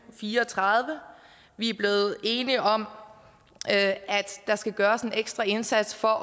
fire og tredive vi er blevet enige om at der skal gøres en ekstra indsats for at